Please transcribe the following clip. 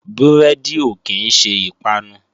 Búrẹ́dì ò kí ń ṣe ìpanu